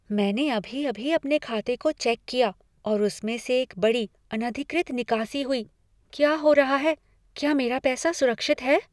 मैंने अभी अभी अपने खाते को चेक किया और उसमें से एक बड़ी, अनधिकृत निकासी हुई। क्या हो रहा है? क्या मेरा पैसा सुरक्षित है?